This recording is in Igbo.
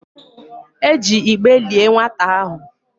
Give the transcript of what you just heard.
E ji igbe lié nwata ahụ.